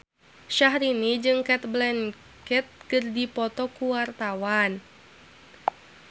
Syahrini jeung Cate Blanchett keur dipoto ku wartawan